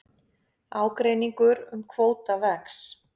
Ágreiningur um kvóta vex